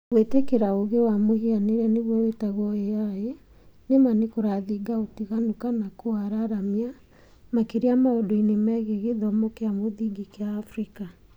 Gwĩtĩkĩra ũũgĩ wa mũhianĩre(AI) nĩma nĩkũrathinga ũtiganu kana kũwararamia, makĩria maũndũ-inĩ megiĩ gĩthomo kĩa mũthingi kĩa Africa